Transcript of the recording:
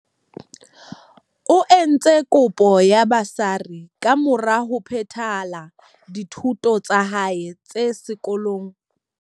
O entse kopo ya ba sari kamora ho phethela dithuto tsa hae tsa se kolong se phahameng, Hoërskool Piet Retief.